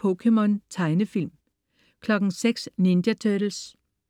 POKéMON. Tegnefilm (man-fre) 06.00 Ninja Turtles. Tegnefilm (man-fre)